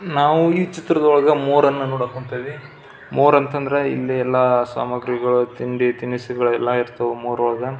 ನಾವು ಈ ಚಿತ್ರದೊಳಗ ಮೂರನ್ನು ನೋಡೋಕ್ ಹೊಂಥಿವಿ ಮೂರ್ ಅಂತ ಅಂದ್ರೆ ಇಲ್ಲಿ ಎಲ್ಲ ಸಾಮಗ್ರಿಗಳು ತಿಂಡಿ ತಿನಿಸುಗಎಲ್ಲ ಇರ್ತಾವ ಮೂರ್ ಒಳಗ.